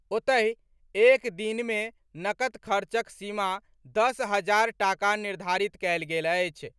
ओतहि, एक दिन मे नकद खर्चक सीमा दस हजार टाका निर्धारित कएल गेल अछि।